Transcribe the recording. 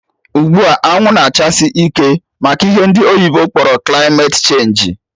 Ugbua, anwụ na-achasi ike maka ihe ndị oyibo kpọrọ kilmate chenji